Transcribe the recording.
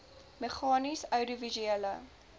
meganies oudiovisuele